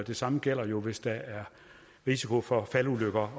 det samme gælder jo hvis der er risiko for faldulykker